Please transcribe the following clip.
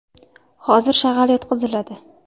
Hozir shag‘al yotqiziladi.